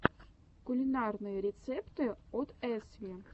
кулинарные рецепты от эсви